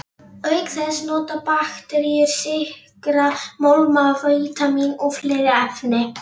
Auk þess nota bakteríur sykra, málma, vítamín og fleiri efni.